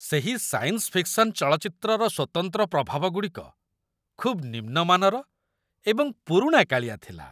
ସେହି science fiction ଚଳଚ୍ଚିତ୍ରର ସ୍ୱତନ୍ତ୍ର ପ୍ରଭାବଗୁଡ଼ିକ ଖୁବ୍ ନିମ୍ନ ମାନର ଏବଂ ପୁରୁଣାକାଳିଆ ଥିଲା!